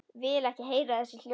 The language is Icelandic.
Vil ekki heyra þessi hljóð.